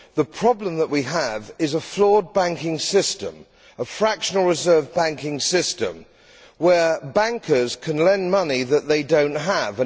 the problem which we have is a flawed banking system a fractional reserve banking system where bankers can lend money that they do not have.